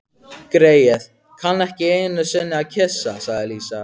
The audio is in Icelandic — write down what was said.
Greyið, kann ekki einusinni að kyssa, sagði Lísa.